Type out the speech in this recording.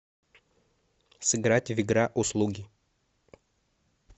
сыграть в игра услуги